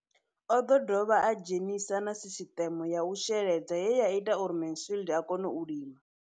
O ḓo dovha a dzhenisa na sisiṱeme ya u sheledza ye ya ita uri Mansfied a kone u lima.